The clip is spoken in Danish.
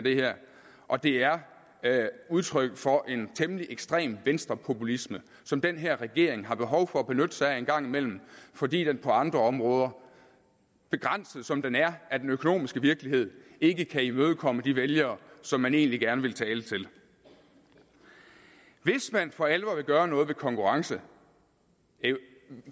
og det er udtryk for en temmelig ekstrem venstrepopulisme som den her regering har behov for at benytte sig af en gang imellem fordi den på andre områder begrænset som den er af den økonomiske virkelighed ikke kan imødekomme de vælgere som man egentlig gerne vil tale til hvis man for alvor vil gøre noget ved konkurrencen